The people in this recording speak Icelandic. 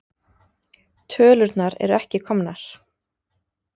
Tölurnar eru ekki komnar.